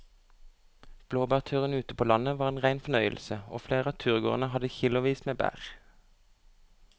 Blåbærturen ute på landet var en rein fornøyelse og flere av turgåerene hadde kilosvis med bær.